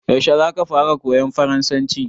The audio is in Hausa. Yaushe zaka fara koyan farasanci?